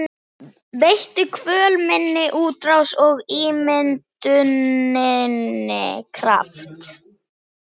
Veittu kvöl minni útrás og ímynduninni kraft.